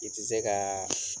I ti se kaa